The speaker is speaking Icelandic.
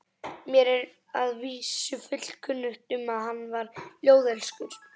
Mér er að vísu fullkunnugt um að hann var ljóðelskur.